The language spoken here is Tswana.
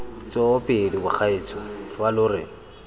tsoopedi bagaetsho fa lo re